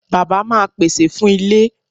Bàbá máa pèsè fún ilé.